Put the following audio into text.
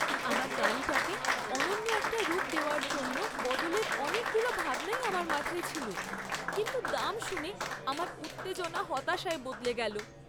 আমার গাড়িটাকে অনন্য একটা রূপ দেওয়ার জন্য বদলের অনেকগুলো ভাবনাই আমার মাথায় ছিল, কিন্তু দাম শুনে আমার উত্তেজনা হতাশায় বদলে গেল।